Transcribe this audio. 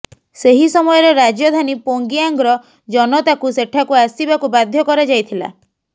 ସେହି ସମୟରେ ରାଜଧାନୀ ପ୍ୟୋଙ୍ଗୟାଙ୍ଗର ଜନତାକୁ ସେଠାକୁ ଆସିବାକୁ ବାଧ୍ୟ କରାଯାଇଥିଲା